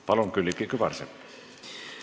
Palun, Külliki Kübarsepp!